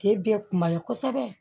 Te bɛɛ kun man ɲi kosɛbɛ